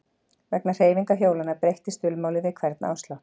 Vegna hreyfingar hjólanna breyttist dulmálið við hvern áslátt.